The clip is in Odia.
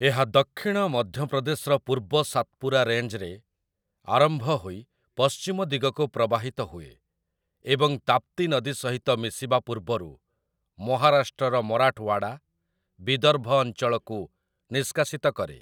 ଏହା ଦକ୍ଷିଣ ମଧ୍ୟପ୍ରଦେଶର ପୂର୍ବ ସାତ୍‍ପୁରା ରେଞ୍ଜରେ ଆରମ୍ଭ ହୋଇ ପଶ୍ଚିମ ଦିଗକୁ ପ୍ରବାହିତ ହୁଏ ଏବଂ ତାପ୍ତି ନଦୀ ସହିତ ମିଶିବା ପୂର୍ବରୁ ମହାରାଷ୍ଟ୍ରର ମରାଠୱାଡା, ବିଦର୍ଭ ଅଞ୍ଚଳକୁ ନିଷ୍କାସିତ କରେ ।